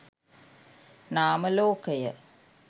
නාම ලෝකය